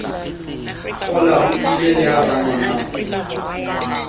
kgolwao potile le ha rangwanao